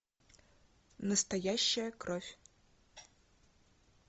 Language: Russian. настоящая кровь